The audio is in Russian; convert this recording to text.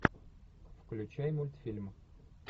включай мультфильм